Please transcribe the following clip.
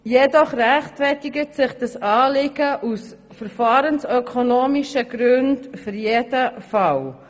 Jedoch rechtfertigt sich dieses Anliegen aus verfahrensökonomischen Gründen in jedem Fall.